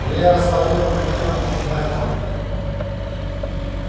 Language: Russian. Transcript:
илья рассмотрел эту пятёрку внимательно